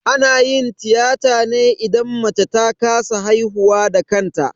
Ana yin tiyata ne idan mace ta kasa haihuwa da kanta